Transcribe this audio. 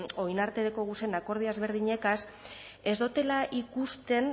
orain arte dekoguzen akordio ezberdinegaz ez dotela ikusten